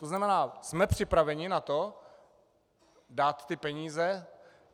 To znamená, jsme připraveni na to dát ty peníze?